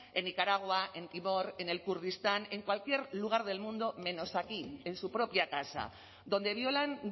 en nicaragua en timor en el kurdistán en cualquier lugar del mundo menos aquí en su propia casa donde violan